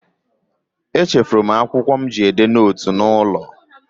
Echefuru m akwụkwọ mụ ji edee nootu n'ụlọ